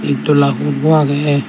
ed dola hur bu agey.